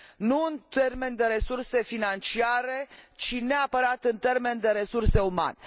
Nu în termeni de resurse financiare, ci neapărat în termeni de resurse umane.